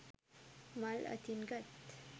මල් අතින් ගත්